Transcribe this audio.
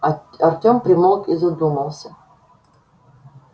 артём примолк и задумался